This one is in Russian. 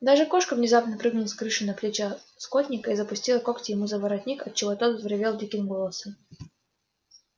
даже кошка внезапно прыгнула с крыши на плечи скотника и запустила когти ему за воротник отчего тот взревел диким голосом